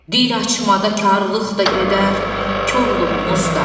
Dil açmada karlığımız da gedər, korluğumuz da.